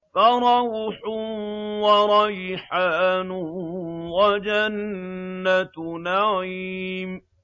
فَرَوْحٌ وَرَيْحَانٌ وَجَنَّتُ نَعِيمٍ